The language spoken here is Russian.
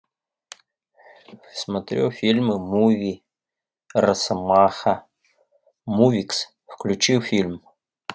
смотрю фильмы муви росомаха мувикс включи фильм